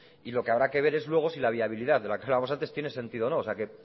y lo que habrá que ver es luego si la viabilidad de la que hablábamos antes tiene sentido o no o sea que